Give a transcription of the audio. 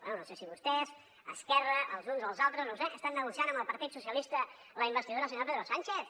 bé no sé si vostès esquerra els uns els altres no ho sé estan negociant amb el partit socialista la investidura del senyor pedro sánchez